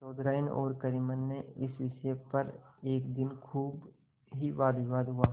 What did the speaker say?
चौधराइन और करीमन में इस विषय पर एक दिन खूब ही वादविवाद हुआ